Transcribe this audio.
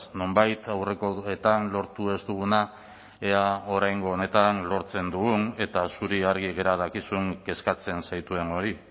nonbait aurrekoetan lortu ez duguna ea oraingo honetan lortzen dugun eta zuri argi gera dakizun kezkatzen zaituen hori